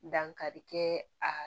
Dankari kɛ a